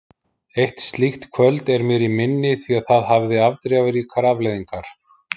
Eitt slíkt kvöld er mér í minni því það hafði afdrifaríkar afleiðingar.